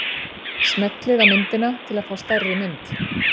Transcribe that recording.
Smellið á myndina til að fá stærri mynd.